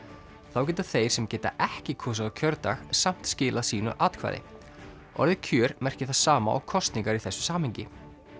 þá geta þeir sem geta ekki kosið á kjördag samt skilað sínu atkvæði orðið kjör merkir það sama og kosningar í þessu samhengi